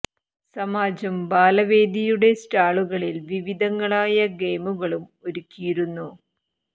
സമാജം ബാല വേദി യുടെ സ്റ്റാളു കളിൽ വിവിധ ങ്ങളായ ഗെയിമു കളും ഒരുക്കി യിരുന്നു